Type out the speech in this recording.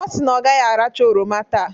Ọ si na ọ gaghị aracha oroma taa.